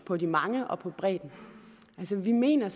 på de mange og på bredden vi mener